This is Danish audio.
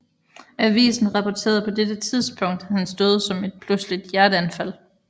Avisen rapporterede på dette tidspunkt hans død som et pludseligt hjerteanfald